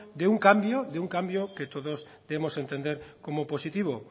de un cambio de un cambio que todos debemos entender como positivo